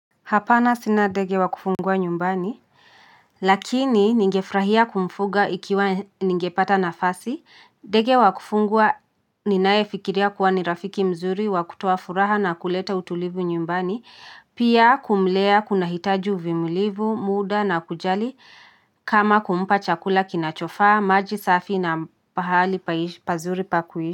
Hapana sina ndege wa kufungwa nyumbani lakini ningefurahia kumfuga ikiwa ningepata nafasi, ndege wa kufungwa ninaye fikiria kuwa ni rafiki mzuri wa kutuo furaha na kuleta utulivu nyumbani pia kumlea kuna hitaji uvumilivu, muda na kujali kama kumpa chakula kinachofaa, maji safi na pahali pazuri pa kuishi.